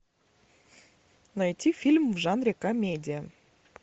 найти фильм в жанре комедия